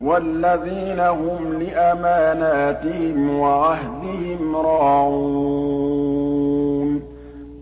وَالَّذِينَ هُمْ لِأَمَانَاتِهِمْ وَعَهْدِهِمْ رَاعُونَ